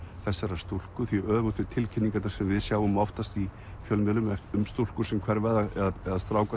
þessarar stúlku því öfugt við tilkynningarnar sem við sjáum oftast í fjölmiðlum um stúlkur sem hverfa eða stráka